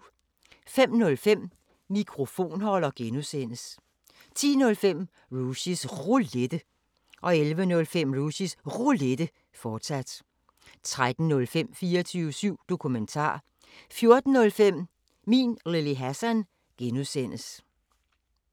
05:05: Mikrofonholder (G) 10:05: Rushys Roulette 11:05: Rushys Roulette, fortsat 13:05: 24syv Dokumentar 14:05: Min Lille Hassan (G)